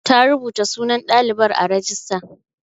Ta rubuta sunan ɗalibar a rajista.